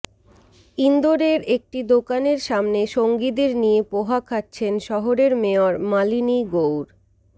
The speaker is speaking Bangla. ইন্দোরের একটি দোকানের সামনে সঙ্গীদের নিয়ে পোহা খাচ্ছেন শহরের মেয়র মালিনী গৌড়